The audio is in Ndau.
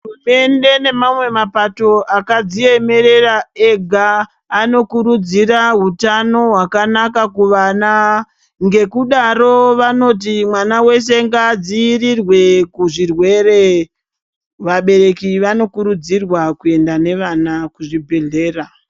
Hurumende nemamwe mapato akadziemerera ega anokurudzira hutano hwakanaka kuvana. Ngekudaro vanoti mwana veshe ngadzirirwe kuzvirwere. Vabereki vanokurudzirwa kuenda nevana kuzvibhedhlera.